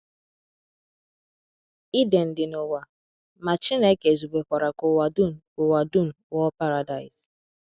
Iden dị n’ụwa, ma Chineke zubekwara ka ụwa dum ka ụwa dum ghọọ Paradaịs.